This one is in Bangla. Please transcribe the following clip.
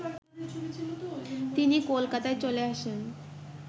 তিনি কলকাতায় চলে আসেন